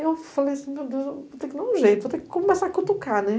Eu falei assim, meu Deus, vou ter que dar um jeito, vou ter que começar a cutucar, né?